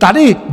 Tady...